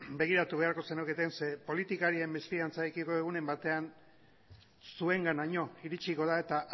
begiratu beharko zenuketen zeren politikarien mesfidantzarekiko egunen batean zuenganaino iritsiko da eta